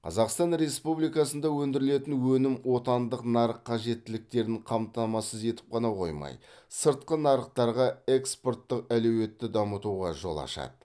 қазақстан республикасында өндірілетін өнім отандық нарық қажеттіліктерін қамтамасыз етіп қана қоймай сыртқы нарықтарға экспорттық әлеуетті дамытуға жол ашады